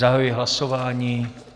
Zahajuji hlasování.